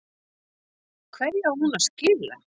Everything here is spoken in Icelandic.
Hverju á hún að skila?